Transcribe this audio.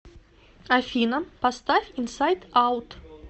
афина поставь инсайд аут